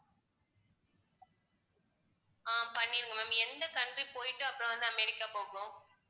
அஹ் பண்ணிடுங்க ma'am எந்த country க்கு போயிட்டு அப்பறம் வந்து அமெரிக்கா போகணும்.